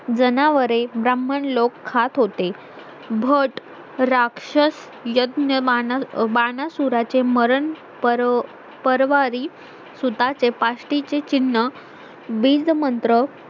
जनावरे ब्राह्मण लोक खात होते भट राक्षस यज्ञ वानासूराचें मरण परवारी सुतांचे पास्टीचे चिह्न बीज मंत्र